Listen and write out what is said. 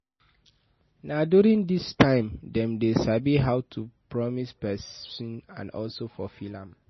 na during this time dem de sabi how to promise persin and also fulfill am